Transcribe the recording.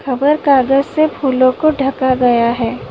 खबर कागज से फूलों को ढका गया है।